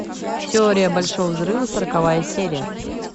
теория большого взрыва сороковая серия